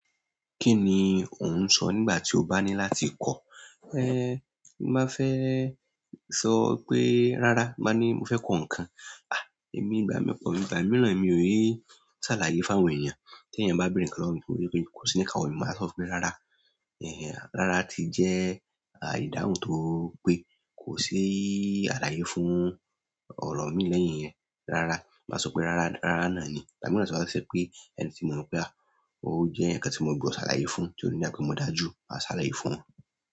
Kí ni ò ń sọ nígbà tí o bá ní láti kọ̀? Ẹn, ma fẹ́ sọ pé "rárá", ma ní mo fẹ́ kọ nǹkan. À, èmi ìgbà mí pọ̀, ìgbà mìíràn èmi ò ní ṣàlàyé fún àwọn èèyàn. Tí èèyàn bá béèrè nǹkan lọ́wọ́ mi, tí mo ri wípé kò sí ní ìkáwọ́ mi, màá sọ fún pé "rárá". Ẹ̀hẹ̀n, rárá ti jẹ́ à ìdáhùn tó pé, kò sí àlàyé fún ọ̀rọ̀ míì lẹ́yìn yẹn rárá. Màá sọ pé rárá, rárá náà ni. Ìgbà mìíràn tó bá ṣe wípé ẹni tí mo mọ̀ pé à, ó jẹ́ èèyàn kan tí mo gbudọ̀ ṣàlàyé fún, tí ò ní dà bí pé mo dájú, màá ṣàlàyé fún wọn.